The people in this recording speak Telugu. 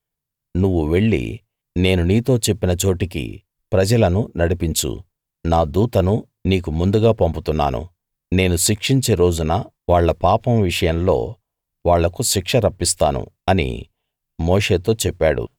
నువ్వు వెళ్లి నేను నీతో చెప్పిన చోటికి ప్రజలను నడిపించు నా దూతను నీకు ముందుగా పంపుతున్నాను నేను శిక్షించే రోజున వాళ్ళ పాపం విషయంలో వాళ్ళకు శిక్ష రప్పిస్తాను అని మోషేతో చెప్పాడు